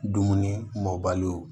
Dumuni mɔbaliw